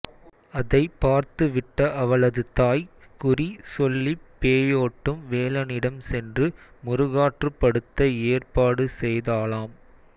அதைப் பார்த்துவிட்ட அவளது தாய் குறி சொல்லிப் பேயோட்டும் வேலனிடம் சென்று முருகாற்றுப்படுத்த ஏற்பாடு செய்தாளாம்